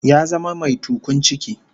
Ya zama mai tukun ciki